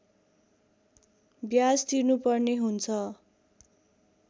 ब्याज तिर्नुपर्ने हुन्छ